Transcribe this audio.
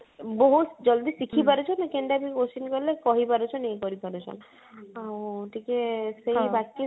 ବହୁତ ଜଲଦି ଶିଖି ପାରୁଛେ ନି କିନ୍ତୁ ଆମେ question କାଲେ କହି ପାରୁଛେ ନେଇ କରିପାରୁଛେ ଆଉ ଆଁ ଟିକେ ସେଇ ବାକି ସବୁ